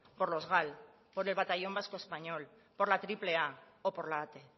por los gal por el batallón vasco español por la triple a o por la ate